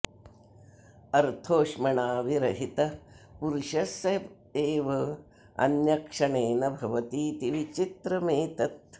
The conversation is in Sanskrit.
अर्थोष्मणा विरहितः पुरुषः स एव अन्यः क्षणेन भवतीति विचित्रमेतत्